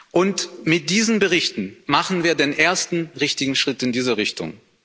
Und mit diesen Berichten machen wir den ersten richtigen Schritt in diese Richtung.